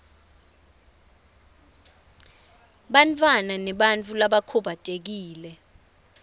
bantfwana nebantfu labakhubatekile